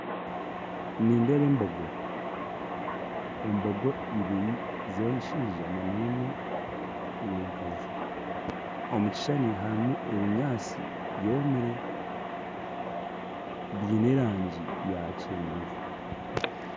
Nindeeba embogo embogo ibiri z'enshaija n'emwe y'enkazi omukishushani harumu ebinyantsi byomire byine erangi ya kyenzu .